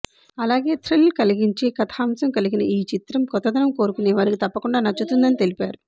అలాగే థ్రిల్ కలిగించే కథాంశం కలిగిన ఈ చిత్రం కొత్తదనం కోరుకునేవారికి తప్పకుండా నచ్చుతుందని తెలిపారు